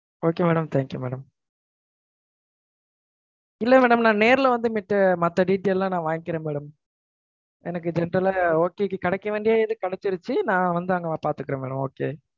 Okay madam. Thank you madam. இல்ல madam நான் நேர்ல வந்தமேட்டு, மத்த detail லாம் நான் வாங்கிக்கிறேன் madam. எனக்கு இந்த இடத்துல, okay கெடைக்க வேண்டியது கெடச்சிரிச்சி. நான் வந்துஅங்க பாத்துக்குறேன் madam. Okay.